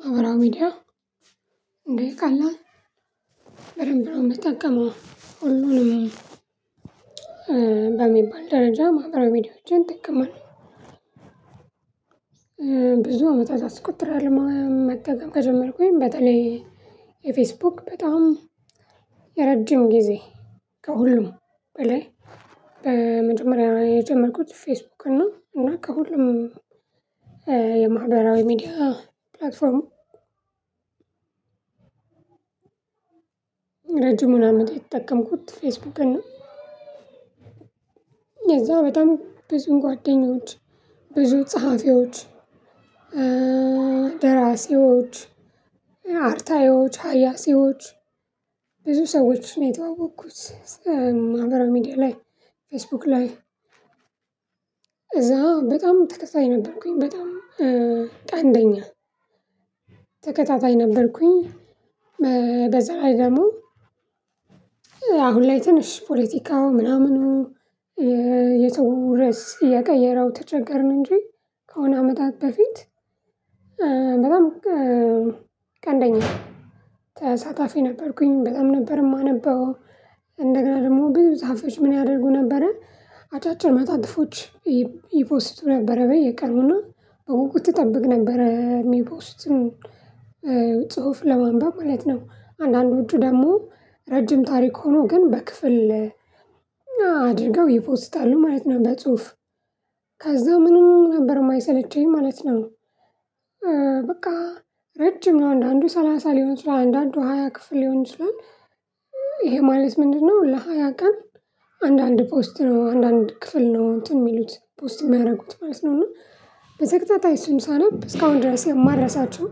ማህበራዊ ሚዲያ እንዴ ቀላል በደንብ ነው የምጠቀመው ሁሉንም በሚባል ደረጃ ማህበራዊ ቪዲዮዎችን እጠቀማለሁ። ብዙ አመታት አስቆጥራለሁ መጠቀም ከጀመርኩኝ በተለይ የፌስቡክ በጣም የረጅም ጊዜ ከሁሉም በላይ በመጀመሪያ የጀመርኩት ፌስቡክ ነው። እና ከሁሉም የማህበራዊ ሚዲያ ፕላትፎርሙ ረጅሙን አመት የተጠቀምኩት ፌስቡክን ነው። በጣም ብዙ ጓደኞች ብዙ ጸሐፊዎች ደራሲዎች አርታዮች ሀያሲዎች ብዙ ሰዎች ነው የተዋወቅኩት። ማህበራዊ ሚዲያ ላይ ፌስቡክ ላይ እዛ በጣም ተከታይ ነበርኩኝ በጣም ቀንደኛ ተከታታይ ነበርኩኝ። በዛ ላይ ደግሞ አሁን ላይ ትንሽ ፖለቲካው ምናምኑ የተወረስ የቀየረው ተቸገርን እንጂ ከሆነ አመታት በፊት በጣም ቀነደኛ ተሳታፊ ነበርኩኝ በጣም ነበር የማነበው። እንደገና ደግሞ ብዙ ጻፊዎች ምን ያደርጉ ነበረ አጫጭር መጣጥፎች ይፖስቱ ነበረ በየቀኑና በውቁቱ እጠብቅ ነበር የሚፖስቱን ጽሁፍ ለማንበብ ማለት ነው። አንዳንዶቹ ደግሞ ረጅም ታሪክ ሆኖ ግን በክፍል አድርገው ይፖስታሉ ማለት ነው። በጽሁፍ ከዛ ምንም ነበር የማይሰለቸኝ ማለት ነው። በቃ ረጅም ነው አንዳንዱ ሰላሳ ሊሆን ይችላል አንዳንዱ ሃያ ክፍል ሊሆን ይችላል። ይሄ ማለት ምንድነው? ለሃያ ቀን አንዳንድ ፖስት ነው አንዳንድ ክፍል ነው እንትን የሚሉት ፖስት የሚያደርጉት ማለት ነው። እና በተከታታይ እሱን ሳነብ እስካሁን ድረስ የማልረሳቸው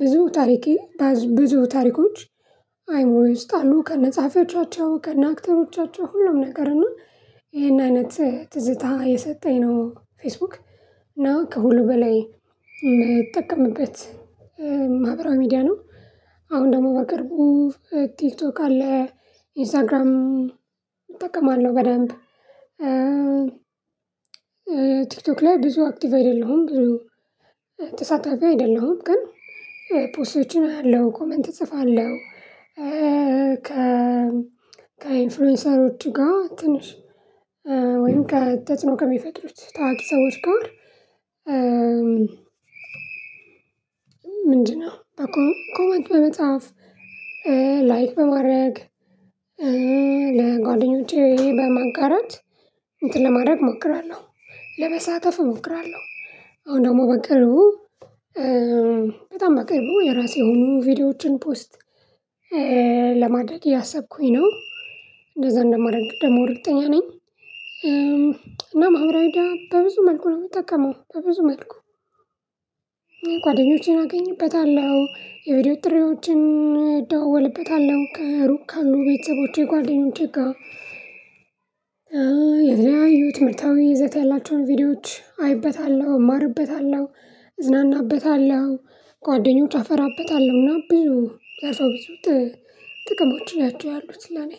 ብዙ ታሪኬ ብዙ ታሪኮች አይሞሮዬ ውስጥ አሉ ከነጻፊዎቻቸው ከነአክተሮቻቸው ሁሉም ነገር እና ይሄን አይነት ትዝታ የሰጠኝ ነው። ፌስቡክ እና ከሁሉ በላይ የምትጠቀምበት ማህበራዊ ሚዲያ ነው። አሁን ደግሞ በቅርቡ ቲክቶክ አለ ኢንስታግራም እጠቀማለሁ በደንብ ቲክቶክ ላይ ብዙ አክቲቭ አይደለሁም። ብዙ ተሳታፊ አይደለሁም። ግን ፖስቶችን አያለው ኮመንት እጽፋለሁ። ከ ከኢንፍሉዌንሰር ውጪ ጋር ትንሽ ከተጽኖ ከሚፈጥሩት ታዋቂ ሰዎች ጋር ምንድነው? ኮመንት በመጽሐፍ ላይክ በማድረግ ለጓደኞቼ በማጋራት እንትን ለማድረግ እሞክራለሁ ለመሳተፍ እሞክራለሁ። አሁን ደግሞ በቅርቡ በጣም በቅርቡ የራሴ የሆኑ ቪዲዮዎችን ፖስት ለማድረግ እያሰብኩኝ ነው። እንደዛ እንደማረግ ደግሞ እርግጠኛ ነኝ። እና ማህበራዊ ሚድያ በብዙ መልኩ ነው የምጠቀመው በብዙ መልኩ። ጓደኞቼን አገኝበታለሁ የቪዲዮ ጥሪዎችን ደወልበታለሁ ከሩቅ ካሉ ቤተሰቦቼ ጓደኞቼ ጋር። የተለያዩ ትምርታዊ ይዘት ያላቸውን ቪዲዮዎች አይበታለሁ እማርበታለሁ እዝናናበታለሁ ጓደኞች አፈራበታለሁና ብዙ ያሳውቁት ጥቅሞች ናቸው ያሉት ለኔ።